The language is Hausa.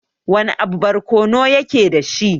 Wana abu barkono yake dashi?